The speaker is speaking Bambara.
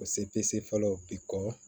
O sepese fɔlɔ bi kɔ